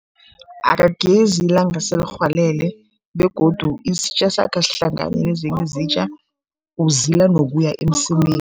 Akagezi ilanga selirhwalele begodu isitja sakhe asihlangani nezinye izitja, uzila nokuya emsemeni.